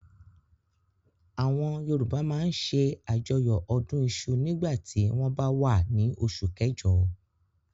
Àwọn Yorùbá máa ń ṣe àjọyọ̀ ọdún iṣu nígbà tí wọ́n bá wà á ní oṣù kẹjọ.